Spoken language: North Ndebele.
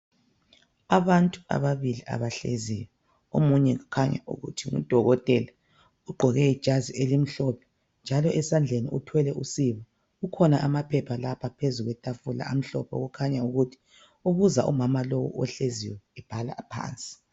Abantu ababili abahleziyo, omunye kukhanya ukuthi ngudokothela. Ugqoke ijazi elimhlophe njalo esandleni uthwele usiba ,kukhona amaphepha lapha phezu kwethafula amhlophe. Okukhanya ukuthi ubuza umama lo ohleziyo ebhala phansi.